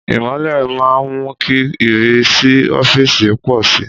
Ìmọ́lẹ̀ máa ń mú kí ìrísí ọ́fíìsì pọ̀ sí i.